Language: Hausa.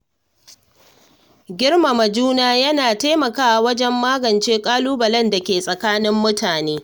Girmama juna yana taimakawa wajen magance ƙalubalen da ke tsakanin mutane.